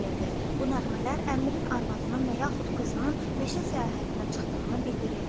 Bu nəğmələr əmirin arvadının və yaxud qızının meşə səyahətinə çıxdığını bildirirdi.